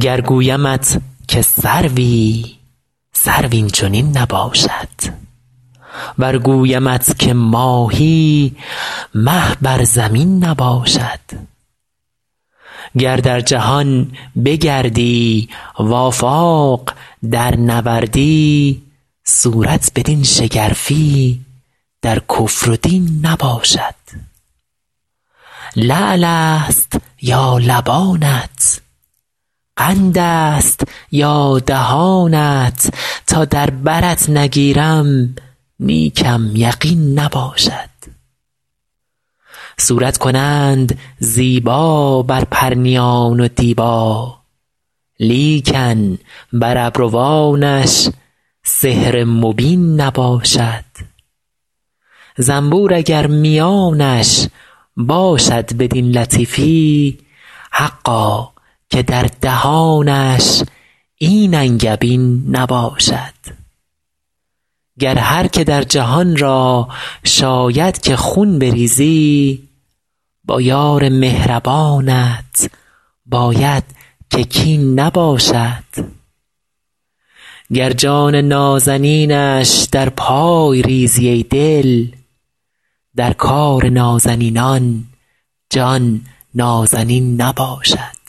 گر گویمت که سروی سرو این چنین نباشد ور گویمت که ماهی مه بر زمین نباشد گر در جهان بگردی و آفاق درنوردی صورت بدین شگرفی در کفر و دین نباشد لعل است یا لبانت قند است یا دهانت تا در برت نگیرم نیکم یقین نباشد صورت کنند زیبا بر پرنیان و دیبا لیکن بر ابروانش سحر مبین نباشد زنبور اگر میانش باشد بدین لطیفی حقا که در دهانش این انگبین نباشد گر هر که در جهان را شاید که خون بریزی با یار مهربانت باید که کین نباشد گر جان نازنینش در پای ریزی ای دل در کار نازنینان جان نازنین نباشد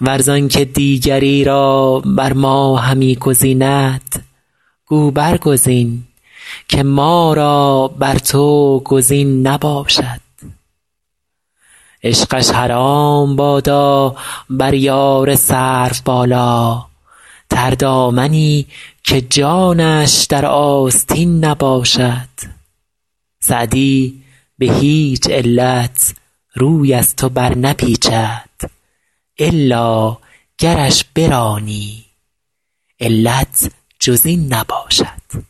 ور زان که دیگری را بر ما همی گزیند گو برگزین که ما را بر تو گزین نباشد عشقش حرام بادا بر یار سروبالا تردامنی که جانش در آستین نباشد سعدی به هیچ علت روی از تو برنپیچد الا گرش برانی علت جز این نباشد